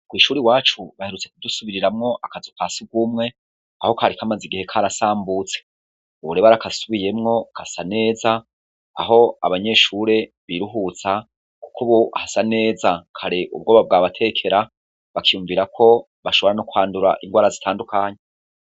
kwishuri wacu baherutse kudusubiriramwo akazu ka sugumwe aho kari kamaze igihe karasambutse ubu rero barakasubiyemwo kasa neza aho abanyeshure biruhutsa kuko ubu hasa neza kare ubwoba bwabatekera bakiyumvira ko bashobora nokwandura ingwara zitandukanye